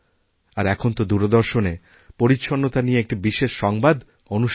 আর এখনতো দূরদর্শনে পরিচ্ছন্নতা নিয়েএকটি বিশেষ সংবাদ অনুষ্ঠান হয়